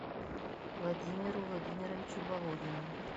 владимиру владимировичу володину